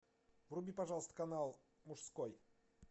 вруби пожалуйста канал мужской